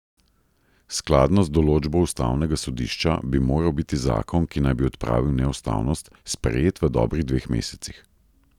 Skladno z določbo ustavnega sodišča bi moral biti zakon, ki naj bi odpravil neustavnost, sprejet v dobrih dveh mesecih.